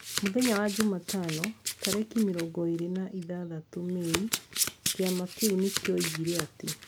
Mũthenya wa jumatano, tarĩki mĩrongo ĩrĩ na ithathatũ Mĩĩ, Kĩama kĩu nĩ kioigire atĩ...